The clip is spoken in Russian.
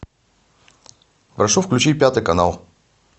прошу включить пятый канал